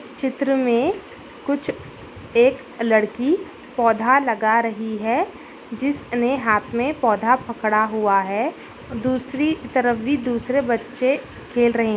चित्र में कुछ एक लड़की पौधा लगा रही है जिस ने हाथ में पौधा पकड़ा हुआ है दूसरी तरफ भी दूसरे बच्चे खेल रहें --